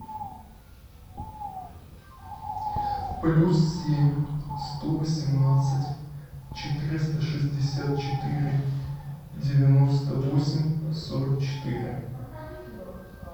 плюс семь сто восемнадцать четыреста шестьдесят четыре девяносто восемь сорок четыре